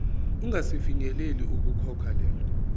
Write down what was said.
ungasafinyeleli ukukhokha lelo